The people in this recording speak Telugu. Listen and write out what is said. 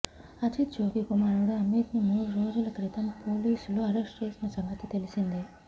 అజిత్ జోగి కుమారుడు అమిత్ను మూడు రోజుల క్రితం పోలీసులు అరెస్టు చేసిన సంగతి తెలిసిందే